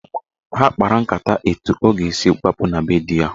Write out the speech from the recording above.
Ha kpara nkata etu ọ ga-esi gbapụ na be di ya.